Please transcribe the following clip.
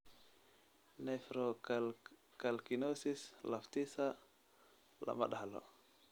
Nephrocalcinosis laftiisa lama dhaxlo.